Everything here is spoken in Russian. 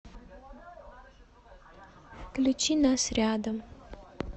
включи нас рядом